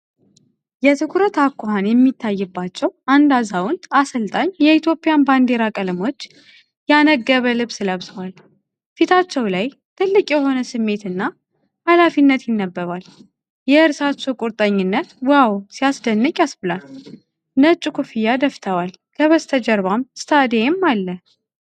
የትኩረት አኳኋን የሚታይባቸው አንድ አዛውንት አሰልጣኝ የኢትዮጵያን ባንዲራ ቀለሞች ያነገበ ልብስ ለብሰዋል። ፊታቸው ላይ ጥልቅ የሆነ ስሜት እና ኃላፊነት ይነበባል። የእርሳቸው ቁርጠኝነት 'ዋው ሲያስደንቅ' ያስብላል። ነጭ ኮፍያ ደፍተዋል፣ ከበስተጀርባም ስታዲየም አለ።